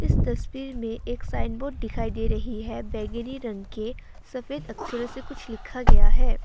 इस तस्वीर में एक साइन बोर्ड दिखाई दे रही है बैंगनी रंग के सफेद अक्षरों से कुछ लिखा गया है।